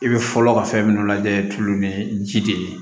I bɛ fɔlɔ ka fɛn minnu lajɛ tulo ni ji de ye